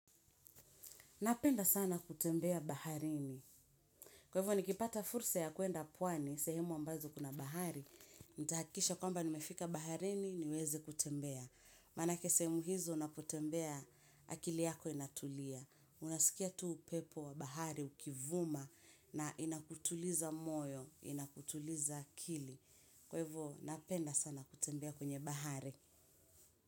Napenda sana kutembea baharini. Kwa hivyo nikipata fursa ya kuenda pwani, sehemu ambazo kuna bahari. Nitahakikisha kwamba nimefika baharini niweze kutembea. Maanake sehemu hizo unapotembea akili yako inatulia. Unasikia tu upepo wa bahari ukivuma na inakutuliza moyo, inakutuliza akili. Kwevo napenda sana kutembea kwenye bahari.